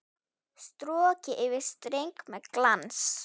Strokið yfir streng með glans.